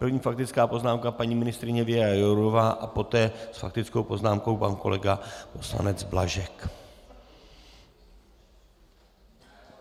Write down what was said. První faktická poznámka paní ministryně Věra Jourová a poté s faktickou poznámkou pan kolega poslanec Blažek.